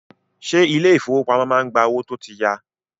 Ṣé ilé ìfọwọ́pamo má ń gba owó tó tí ya.